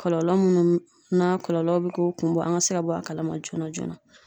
Kɔlɔlɔ munnu n'a kɔlɔlɔ bi k'o kun bɔ, an ka se ka bɔ a kalama joona joona.